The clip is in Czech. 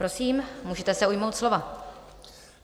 Prosím, můžete se ujmout slova.